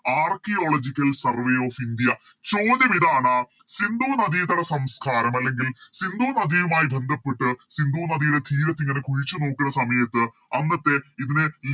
Archaeological survey of india ചോദ്യം ഇതാണ് സിന്ധു നദിതട സംസ്കാരം അല്ലെങ്കിൽ സിന്ധു നദിയുമായി ബന്ധപ്പെട്ട് സിന്ധു നദിയുടെ തീരത്ത് ഇങ്ങനെ കുഴിച്ച് നോക്കുന്ന സമയത്ത് അന്നത്തെ ഇതിനെ ലി